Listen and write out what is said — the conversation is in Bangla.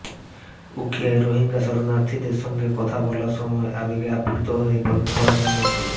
উখিয়ায় রোহিঙ্গা শরণার্থীদের সঙ্গে কথা বলার সময় আবেগ আপ্লুত হয়ে পড়েন প্রধানমন্ত্রী